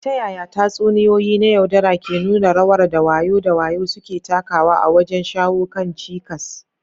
Ta yaya tatsuniyoyi na yaudara ke nuna rawar da wayo da wayo suke takawa wajen shawo kan cikas?